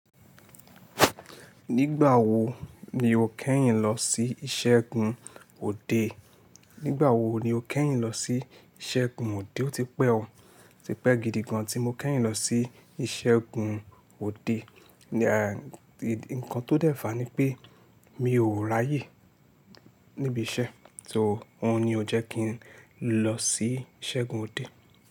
Nígbà wo ni o kẹ́yìn lọ sí ìṣẹ́gun òde? Nígbà wo ni o kẹ́yìn lọ sí ìṣẹ́gun òde? Ó ti pẹ́ o, ti pẹ́ gidi gan tí mo kẹ́yìn lọ sí ìṣẹ́gun òde. Ǹkan tó dẹ́fà ni pé mi ò ráyè níbi iṣẹ́, so òhun ni ó jẹ́ kí n lọ sí ìṣẹ́gun òde.